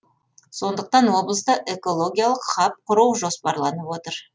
сондықтан облыста экологиялық хаб құру жоспарланып отыр